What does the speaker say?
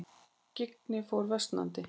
Skyggni fór versnandi.